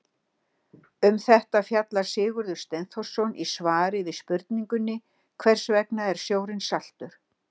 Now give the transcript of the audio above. Um þetta fjallar Sigurður Steinþórsson í svari við spurningunni Hvers vegna er sjórinn saltur?